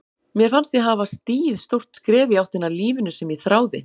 Mér fannst ég hafa stigið stórt skref í áttina að lífinu sem ég þráði.